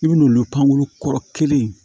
I bin'olu pankuru kɔrɔ kelen in